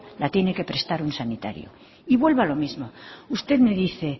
la tiene que prestar un sanitario y vuelvo a lo mismo usted me dice